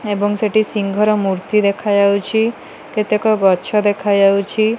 ଏବଂ ସିଂଙ୍ଗ ର ମୂର୍ତ୍ତି ଦେଖାଯାଉଛି କେତେକ ଗଛ ଦେଖା ଯାଉଛି